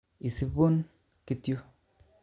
Isibun kit yu